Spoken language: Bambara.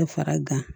Fara gan